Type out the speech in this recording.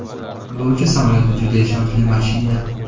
Yo‘lovchi samolyoti juda ishonchli mashina.